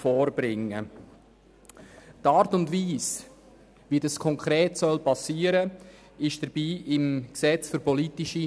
Die Art und Weise, wie dies konkret geschehen soll, ist im PRG geregelt.